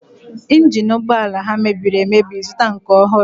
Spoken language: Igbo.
Ịnjin ụgbọala ha mebiri emebi, zụta nke ọhụrụ!